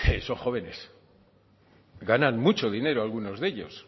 esos jóvenes ganan mucho dinero algunos de ellos